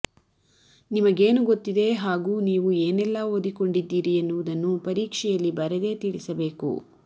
ನಿಮಗೇನು ಗೊತ್ತಿದೆ ಹಾಗೂ ನೀವು ಏನೆಲ್ಲಾ ಓದಿಕೊಂಡಿದ್ದೀರಿ ಎನ್ನುವುದನ್ನು ಪರೀಕ್ಷೆಯಲ್ಲಿ ಬರೆದೇ ತಿಳಿಸಬೇಕು